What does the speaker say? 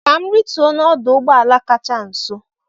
Ka m rituo n'ọdụ ụgbọ ala kacha nso